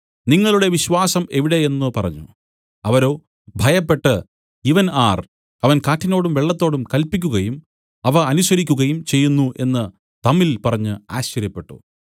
നിങ്ങളുടെ വിശ്വാസം എവിടെ എന്നു പറഞ്ഞു അവരോ ഭയപ്പെട്ടു ഇവൻ ആർ അവൻ കാറ്റിനോടും വെള്ളത്തോടും കല്പിക്കുകയും അവ അനുസരിക്കുകയും ചെയ്യുന്നു എന്നു തമ്മിൽ പറഞ്ഞു ആശ്ചര്യപ്പെട്ടു